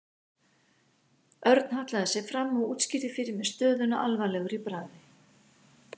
Örn hallaði sér fram og útskýrði fyrir mér stöðuna alvarlegur í bragði.